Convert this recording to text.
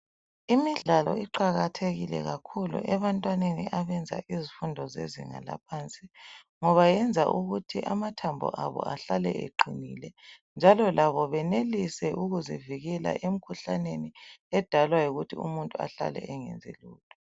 Imidlalo iqakathekile kakhulu ebantwaneni abenza izifundo zezinga laphansi ngoba yenza ukuthi amathambo abo ahlale eqinile, njalo labo benelise ukuzivikela emkhuhlaneni edalwa yikuthi umuntu ahlale engenzi lutho.